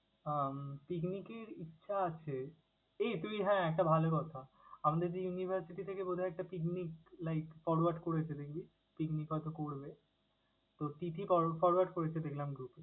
উম picnic এর ইচ্ছা আছে। এই তুই হ্যাঁ একটা ভালো কথা, আমাদের যে university থেকে বোধ হয় একটা picninc like forward করেছে দেখবি picnic হয়তো করবে। তোর তিথি for~forward করেছে দেখলাম group এ।